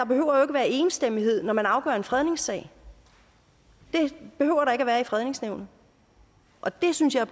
behøver at være enstemmighed når man afgør en fredningssag det behøver der ikke være i fredningsnævnet og det synes jeg